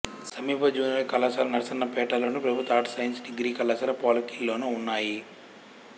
సమీప జూనియర్ కళాశాల నరసన్నపేటలోను ప్రభుత్వ ఆర్ట్స్ సైన్స్ డిగ్రీ కళాశాల పోలాకిలోనూ ఉన్నాయి